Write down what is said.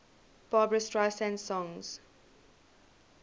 barbra streisand songs